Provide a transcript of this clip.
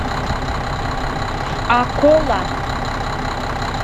акола